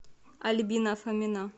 альбина фомина